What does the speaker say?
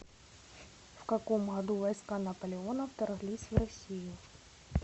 в каком году войска наполеона вторглись в россию